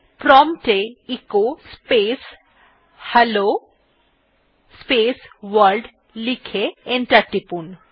prompt এ echo space hello world লিখে enter টিপুন